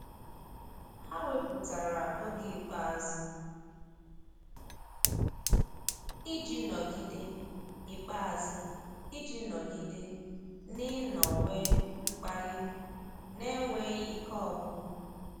Há wépụ́tara oge ikpeazụ iji nọ́gídé ikpeazụ iji nọ́gídé n’ị́nọ́wé mkpali n’énwéghị́ ike ọ́gwụ́gwụ́.